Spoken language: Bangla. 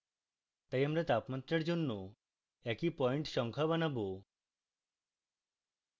তাই আমরা তাপমাত্রার জন্য একই পয়েন্ট সংখ্যা বানাবো